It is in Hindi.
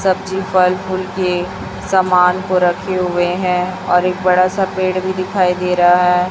सब्जी फल फूल के सामान को रखे हुए हैं और एक बड़ा सा पेड़ भी दिखाई दे रहा है।